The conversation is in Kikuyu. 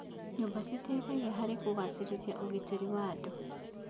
Nyũmba citeithagia harĩ kũgacĩrithia ũgitĩri wa andũ.